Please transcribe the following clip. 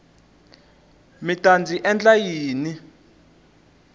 mi ta ndzi endla yini